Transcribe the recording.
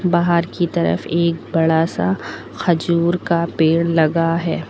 बाहर की तरफ एक बड़ा सा खजूर का पेड़ लगा है।